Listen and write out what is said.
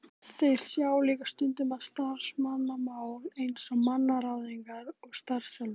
Þeir sjá líka stundum um starfsmannamál eins og mannaráðningar og starfsþjálfun.